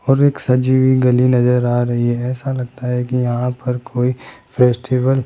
और एक सजी हुई गली नजर आ रही है ऐसा लगता है कि यहां पर कोई फेस्टिवल --